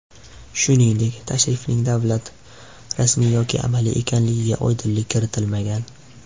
Shuningdek, tashrifning davlat, rasmiy yoki amaliy ekanligiga oydinlik kiritilmagan.